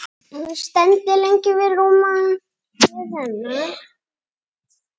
Stend lengi við rúmið hennar.